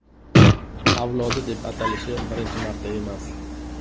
avlodi deb atalishi birinchi marta emas.